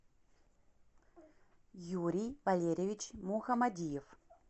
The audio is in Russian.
юрий валерьевич мухамадиев